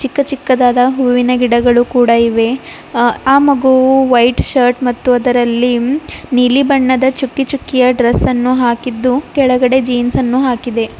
ಚಿಕ್ಕ ಚಿಕ್ಕದಾದ ಹೂವಿನ ಗಿಡಗಳು ಕೂಡ ಇವೆ ಆ ಆ ಮಗುವು ವೈಟ್ ಶರ್ಟ್ ಮತ್ತು ಅದರಲ್ಲಿ ನೀಲಿ ಬಣ್ಣದ ಚುಕ್ಕಿಚುಕ್ಕಿಯ ಡ್ರೆಸ್ ಅನ್ನು ಹಾಕಿದ್ದು ಕೆಳಗಡೆ ಜೀನ್ಸ್ ಅನ್ನು ಹಾಕಿದೆ.